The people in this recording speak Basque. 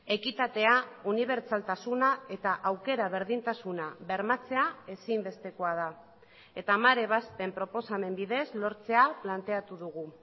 ekitatea unibertsaltasuna eta aukera berdintasuna bermatzea ezinbestekoa da eta hamar ebazpen proposamen bidez lortzea planteatu dugu